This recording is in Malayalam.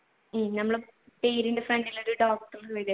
ഞമ്മടെ പേരിന്റെ front ഇൽ ഒരു doctor വരുമല്ലോ